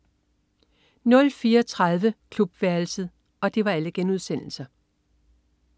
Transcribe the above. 04.30 Klubværelset*